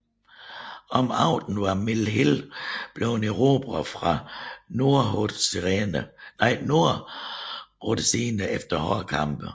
Om aftenen var Mill Hill blevet erobret fra nordrhodesierne efter hårde kampe